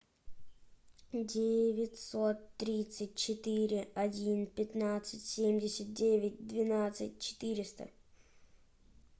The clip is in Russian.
девятьсот тридцать четыре один пятнадцать семьдесят девять двенадцать четыреста